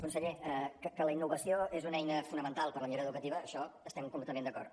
conseller que la innovació és una eina fonamental per a la millora educativa en això estem completament d’acord